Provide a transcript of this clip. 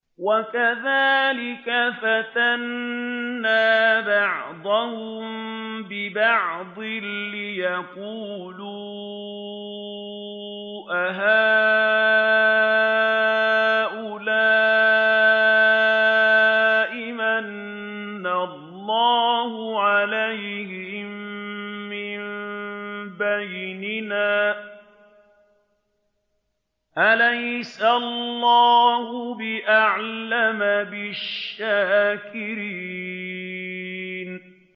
وَكَذَٰلِكَ فَتَنَّا بَعْضَهُم بِبَعْضٍ لِّيَقُولُوا أَهَٰؤُلَاءِ مَنَّ اللَّهُ عَلَيْهِم مِّن بَيْنِنَا ۗ أَلَيْسَ اللَّهُ بِأَعْلَمَ بِالشَّاكِرِينَ